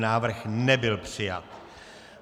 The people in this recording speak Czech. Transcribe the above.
Návrh nebyl přijat.